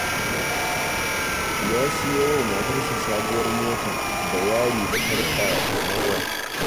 Ya siyo wa matarsa sabuwar mota da yari da sarƙa na gwal.